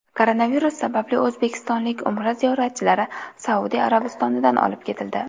Koronavirus sababli o‘zbekistonlik Umra ziyoratchilari Saudiya Arabistonidan olib ketildi.